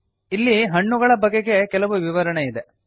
ಇಲ್ಲಿ ಹಣ್ಣುಗಳ ಬಗೆಗೆ ಕೆಲವು ವಿವರಣೆ ಇದೆ